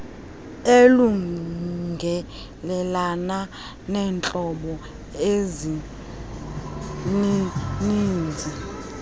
elungelelana neentlobo ezinininzi